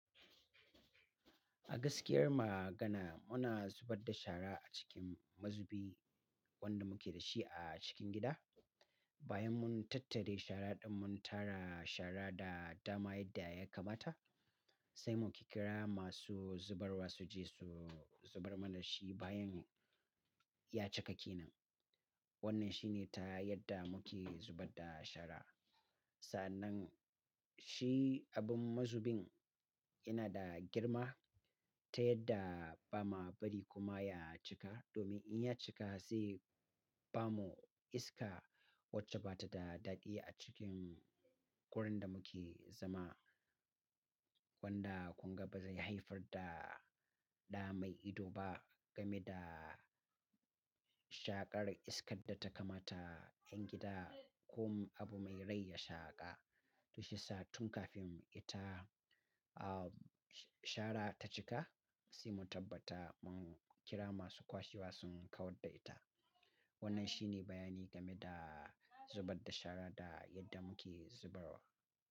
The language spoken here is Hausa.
A gaskiyar magana muna zubar da shara a cikin mazubi wanda muke da shi a cikin gida. Bayan mun tattare shara ɗin mun tara shara da dama yadda ya kamata sai muke kira masu zubarwa su je su zubar mana shi bayan ya cika kenan Wannan shi ne ta yadda muke zubar da shara. Sannan shi abin mazubin yana da girma ta yadda ba ma bari kuma ya cika domin in ya cika sai babu iska wacce bata da daɗi a cikin wurin da muke zama wanda kuma ba zai haifar da ɗa mai ido ba game da shaƙar iskar da ta kamata yan gida ko abu mai raayi ya shaƙa. To shi yasa tun kafin ita ah shara ta cika sai mu tabbata mun kira masu kwashewa sun kawar da ita. Wannan shi ne bayani game da zubar da shara da yadda muke zubarwa.